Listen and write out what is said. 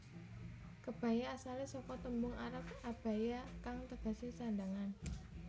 Kebaya asalé saka tembung arab abaya kang tegesé sandhangan